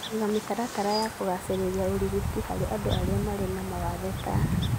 Kũiga mĩtaratara ya kugacĩrĩria ũrigiti harĩ andũ arĩa marĩ na mawathe, ta